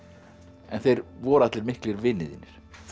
en þeir voru allir miklir vinir þínir